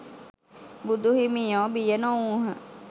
බුදු හිමියෝ බිය නොවූහ.